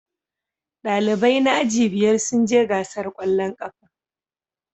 Dalibai na aji biyar sun je gasar kwallon kafa